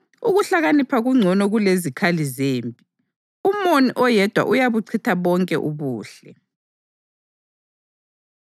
Ukuhlakanipha kungcono kulezikhali zempi, umoni oyedwa uyabuchitha bonke ubuhle.